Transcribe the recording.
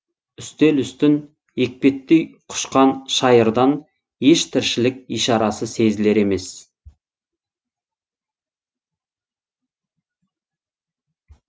үстел үстін екпеттей құшқан шайырдан еш тіршілік ишарасы сезілер емес